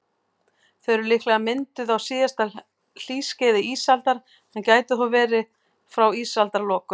Þau eru líklega mynduð á síðasta hlýskeiði ísaldar, en gætu þó verið frá ísaldarlokum.